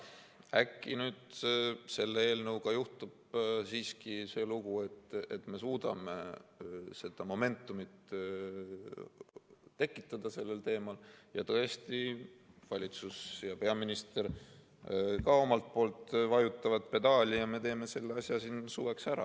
Äkki selle eelnõuga juhtub siiski see lugu, et me suudame tekitada seda momentumit sellel teemal, tõesti valitsus ja peaminister ka vajutavad pedaali ja me teeme selle asja siin suveks ära.